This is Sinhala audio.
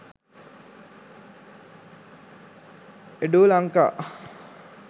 edulanka